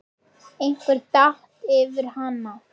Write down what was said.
Einhver datt yfir hana.